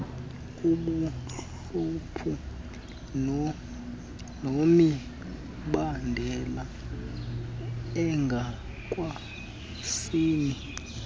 kubuhlwempu nemibandela engokwesini